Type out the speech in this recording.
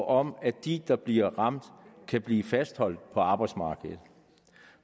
om at de der bliver ramt kan blive fastholdt på arbejdsmarkedet